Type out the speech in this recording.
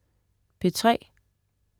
P3: